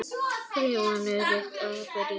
Rimman er rétt að byrja.